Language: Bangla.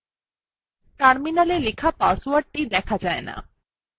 terminalএ লেখা পাসওয়ার্ডটি দেখা যায় the